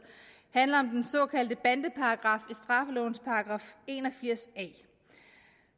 handler om den såkaldte bandeparagraf straffelovens § en og firs a